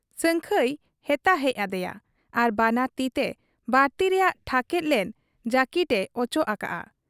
ᱥᱟᱹᱝᱠᱷᱟᱹᱭ ᱦᱮᱛᱟ ᱦᱮᱡ ᱟᱫᱮᱭᱟ ᱟᱨ ᱵᱟᱱᱟᱨ ᱛᱤᱛᱮ ᱵᱟᱨᱛᱤ ᱨᱮᱭᱟᱜ ᱴᱷᱟᱠᱮᱫ ᱞᱮᱱ ᱡᱟᱹᱠᱤᱴ ᱮ ᱚᱪᱚᱜ ᱟᱠᱟᱜ ᱟ ᱾